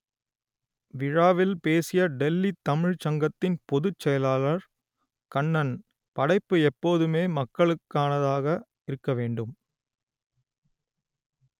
விழாவில் பேசிய டெல்லி தமிழ்ச் சங்கத்தின் பொதுச் செயலாளர் கண்ணன் படைப்பு எப்போதுமே மக்களுக்கானதாக இருக்க வேண்டும்